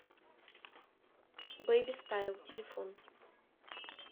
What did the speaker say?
бейби стайл телефон